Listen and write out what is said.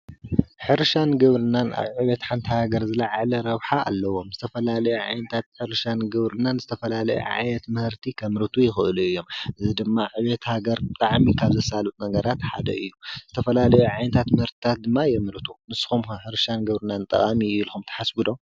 ሕርሻን ግብርናን ኣብ ዕቤት ሓንቲ ሃገር ዝለዓለ ረብሓ ኣለዎም ዝተፈላለየ ዓይነት ሕርሻን ግብርናን ዝተፈላለየ ዓይነት ምህርቲ ከምርቱ ይኽእሉ እዮም። እዚ ድማ ዕቤት ሃገር ብጣዕሚ ካብ ዘሳልጥ ነገርራት ሓደ እዩ ።ዝተፈላለዩ ዓይነታት ምህርትታት ድማ የምርተቱ ። ንስኹም ከ ሕርሻን ግብርናን ጠቃሚ እዩ ኢልኩም ትሓስቡ ዶ?